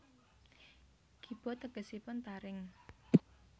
Kiba tegesipun taring